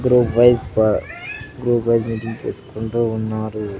ఇక్కడో వైస్ బా చేసుకుంటూ ఉన్నారు.